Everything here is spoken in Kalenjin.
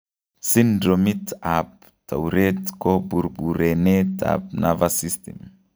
Syndromit ab tourette ko burburenet ab nervous system